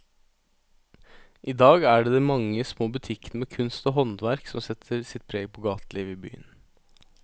I dag er det de mange små butikkene med kunst og håndverk som setter sitt preg på gatelivet i byen.